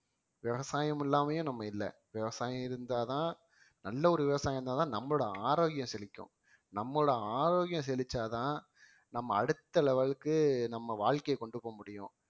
விவசாயம் இல்லாமயும் நம்ம இல்லை விவசாயம் இருந்தாதான் நல்ல ஒரு விவசாயம் இருந்தாதான் நம்மளோட ஆரோக்கியம் செழிக்கும் நம்மளோட ஆரோக்கியம் செழிச்சாதான் நம்ம அடுத்த level க்கு நம்ம வாழ்க்கைய கொண்டு போக முடியும்